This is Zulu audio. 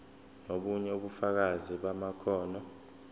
nobunye ubufakazi bamakhono